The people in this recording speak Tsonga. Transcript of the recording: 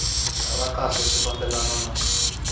ra kahle swi fambelana na